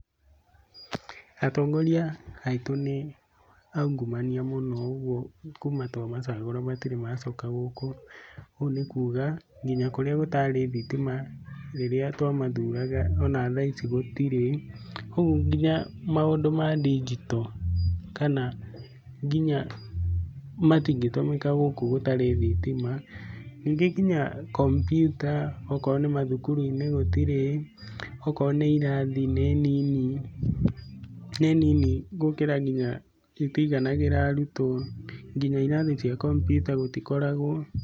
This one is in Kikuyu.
Atongoria aitũ nĩ aungumania mũno ũguo kuma twamacagũra matirĩ macoka gũkũ. Ũguo nĩ kuga nginya kũrĩa gũtarĩ thitima rĩrĩa twamacagũraga ona thaa ici gũtirĩ, ũguo nginya maũndũ ma ndinjito kana nginya, matingĩ tũmĩka gũkũ gũtarĩ thitima. Ningĩ nginya kompiuta okorwo nĩ mathukuru-inĩ gũtirĩ, okorwo nĩ irathi nĩ nini, gũkĩra nginya itiganagĩra arutwo, nginya irathi cia kompiuta gũtikoragwo.